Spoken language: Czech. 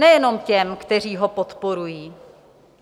Nejenom těm, kteří ho podporují.